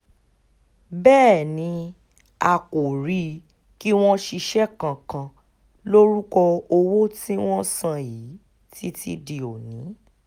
bẹ́ẹ̀ ni a kò rí i kí wọ́n ṣiṣẹ́ kankan lórúkọ owó tí wọ́n san yìí títí di òní